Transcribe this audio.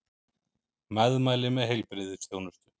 Meðmæli með heilbrigðisþjónustu